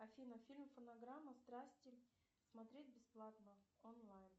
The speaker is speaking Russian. афина фильм фонограмма страсти смотреть бесплатно онлайн